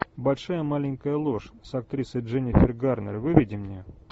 большая маленькая ложь с актрисой дженнифер гарнер выведи мне